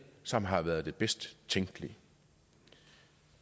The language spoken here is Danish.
som har været det bedst tænkelige